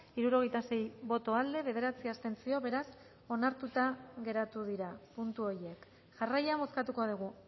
hirurogeita sei boto aldekoa bederatzi abstentzio beraz onartuta geratu dira puntu horiek jarraian bozkatuko dugu